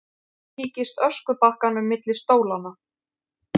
Líkist öskubakkanum milli stólanna.